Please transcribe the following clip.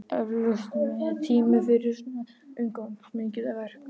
Eflaust mettími fyrir svo umfangsmikið verk.